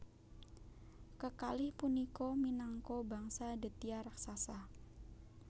Kekalih punika minangka bangsa Detya raksasa